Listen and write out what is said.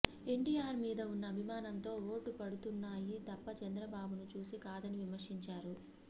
ఎన్టీఆర్ మీద ఉన్న అభిమానంతో ఓట్లు పడుతున్నాయి తప్ప చంద్రబాబును చూసి కాదని విమర్శించారు